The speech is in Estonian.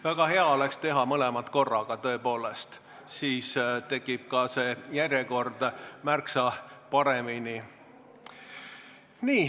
Väga hea oleks teha mõlemat korraga, tõepoolest, siis tekib ka see järjekord märksa paremini.